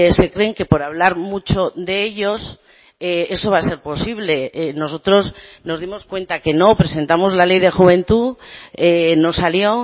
se creen que por hablar mucho de ellos eso va a ser posible nosotros nos dimos cuenta que no presentamos la ley de juventud no salió